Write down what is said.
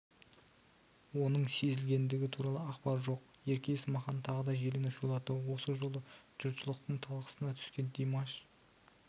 оның сезілгендігі туралы ақпар жоқ ерке есмахан тағы да желіні шулатты осы жолы жұртшылықтың талқысынатүскен димаш